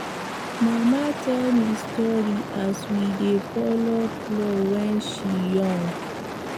mama tell me story as we dey follow plow when she young